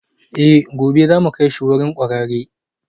Eh, gobe za mu kai shi wurin kwararre